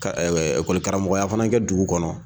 Ka ekɔli karamɔgɔya fana kɛ dugu kɔnɔ